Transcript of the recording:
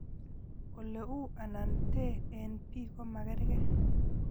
Ole u anan tee eng' bik ko magerge.